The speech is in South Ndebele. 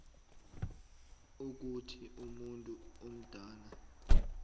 ukuthi umuntu omdala